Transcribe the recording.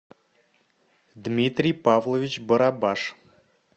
дмитрий павлович барабаш